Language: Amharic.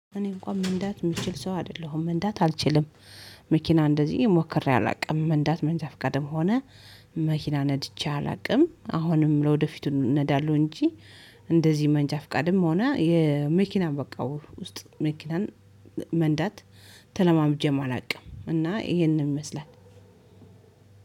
እኔ እንኳን መንዳት የምችል ሰው አይደለሁም መንዳት አልችልም። መኪና እንደዚህ ሞክሬ አላውቅም። መንዳት መንጃ ፍቃድም ሆነ መኪና ነድቼ አላውቅም። አሁንም ለወደፊቱ ነዳለሁ እንጂ እንደዚህ መንጃ ፍቃድም ሆነ፤ የመኪና በቃ ውስጥ መኪናን መንዳት፤ ተለማምጄም አላውቅም እና ይሄንን ይመስላል።